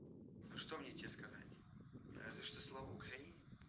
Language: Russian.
что мне тебе сказать разве что слава украине